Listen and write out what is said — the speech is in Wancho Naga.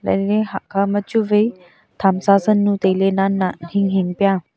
vanle hakhama chu vai thamsa san nu nannan hinghing pya.